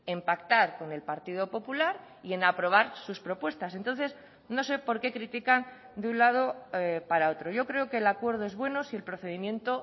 en pactar con el partido popular y en aprobar sus propuestas entonces no sé por qué critican de un lado para otro yo creo que el acuerdo es bueno si el procedimiento